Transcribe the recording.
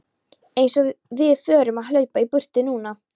Eins og við förum að hlaupa í burtu núna!